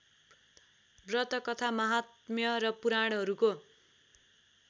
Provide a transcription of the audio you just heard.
व्रतकथा महात्म्य र पुराणहरूको